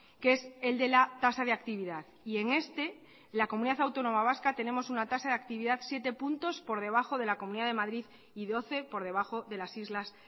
que es el de la tasa de actividad y en este la comunidad autónoma vasca tenemos una tasa de actividad siete puntos por debajo de la comunidad de madrid y doce por debajo de las islas